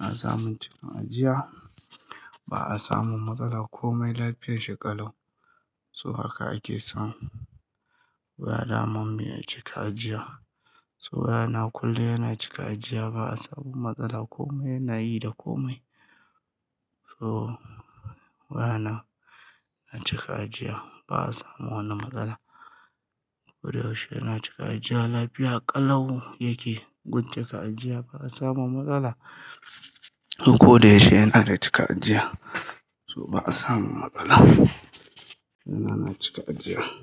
ana samun cika ajiya. Ba a samun matsala komai lafiyar shi ƙalau. So haka ake son waya daman miya cika ajiya. So waya na kulle yana cika ajiya. Ba a samun matsala komai na yi da komai. To waya na, ya cika ajiya. Ba a samun wani matsala. Ko da yaushe yana cika ajiya lafiya ƙalau yake gun cika ajiya. Ba a samu matsala. Ko da yaushe yana da cika ajiya. So ba a samun matsala. Waya na yana cika ajiya.